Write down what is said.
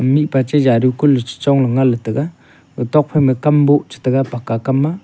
mipa che jaru kulle chu Chong le ngan le taiga etok phai ma kambu chu taiga pakka kam maa.